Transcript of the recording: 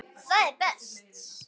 Það er best.